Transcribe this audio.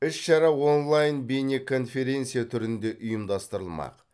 іс шара онлайн бейнеконференция түрінде ұйымдастырылмақ